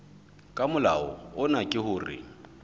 ka molao ona ke hore